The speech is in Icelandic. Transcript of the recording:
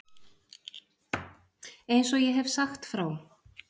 Eins og ég hef sagt frá.